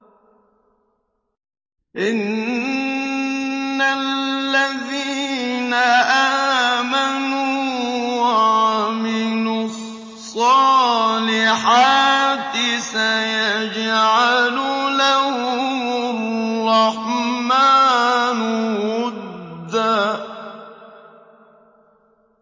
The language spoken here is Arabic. إِنَّ الَّذِينَ آمَنُوا وَعَمِلُوا الصَّالِحَاتِ سَيَجْعَلُ لَهُمُ الرَّحْمَٰنُ وُدًّا